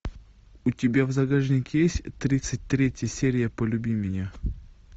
у тебя в загашнике есть тридцать третья серия полюби меня